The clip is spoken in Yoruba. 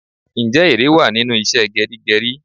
Ǹjẹ́ ère wá nínú ìṣe geri geri?